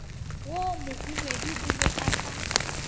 wo mohwibidu o be ka